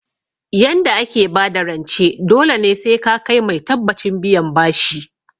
Yanda ake bada rance dole ne sai ka kai mai tabbacin biyan bashi